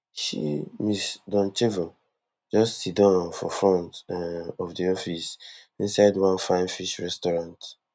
she ms doncheva just siddon for front um of di office inside one fine fish restaurant